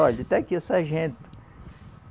Olhe, está aqui o sargento.